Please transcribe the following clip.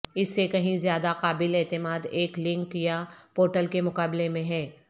اس سے کہیں زیادہ قابل اعتماد ایک لنک یا پورٹل کے مقابلے میں ہے